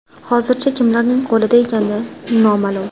Hozircha, kimlarning qo‘lida ekani noma’lum.